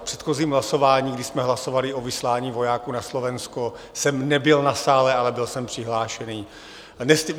V předchozím hlasování, kdy jsme hlasovali o vyslání vojáků na Slovensko, jsem nebyl na sále, ale byl jsem přihlášený.